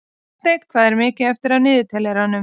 Marteinn, hvað er mikið eftir af niðurteljaranum?